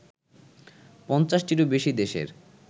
৫০টিরও বেশি দেশের